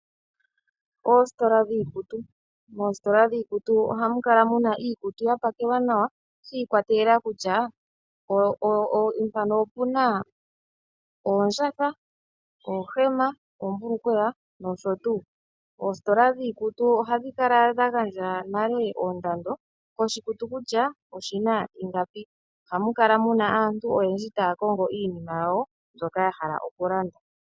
Oositola dhiikutu. Moositola dhiikutu ohamu kala muna iikutu ya pakelwa nawa shi ikwatelela kutya mpano opuna oondjatha , oohema, oombulukweya nosho tuu. Oositola dhiikutu ohadhi kala n dha gandja nale ondando koshikutu kutya oshina ingapi. Ohamu kala muna aantu oyendji taya kongo iinima yawo mbyoka ya hala okulanda.